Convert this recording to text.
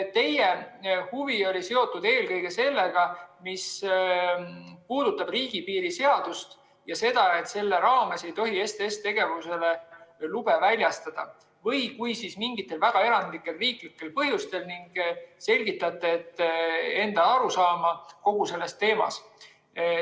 Teie huvi oli seotud eelkõige sellega, mis puudutab riigipiiri seadust ja seda, et selle raames ei tohi STS‑tegevusele lube väljastada või kui, siis mingitel väga erandlikel riiklikel põhjustel, ning te selgitate enda arusaama kogu sellest teemast.